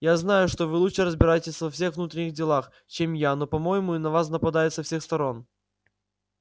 я знаю что вы лучше разбираетесь во всех внутренних делах чем я но по-моему и на вас нападают со всех сторон